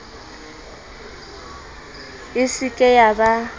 e se ke ya ba